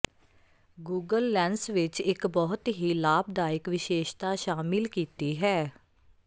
Google lens ਵਿੱਚ ਇੱਕ ਬਹੁਤ ਹੀ ਲਾਭਦਾਇਕ ਵਿਸ਼ੇਸ਼ਤਾ ਸ਼ਾਮਿਲ ਕੀਤੀ ਹੈ